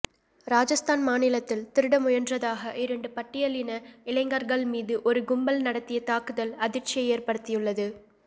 ராஜஸ்தான் மாநிலத்தில் திருட முயன்றதாக இரண்டு பட்டியலின இளைஞர்கள் மீது ஒரு கும்பல் நடத்திய தாக்குதல் அதிர்ச்சியை ஏற்படுத்தியுள்ளது